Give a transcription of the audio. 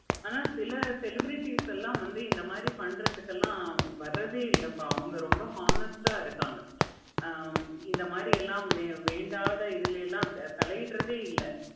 ஆனா சில celebrities எல்லாம் வந்து இந்த மாதிரி பண்றதுக்கு எல்லாம் வராதே இல்லப்பா அவங்க ரொம்ப honest ஆஹ் இருக்காங்க. ஆஹ் இந்த மாதிரி எல்லாம் வேண்டாத இதுல எல்லாம் தாய் இடுறதேய இல்ல.